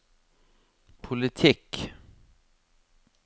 politikk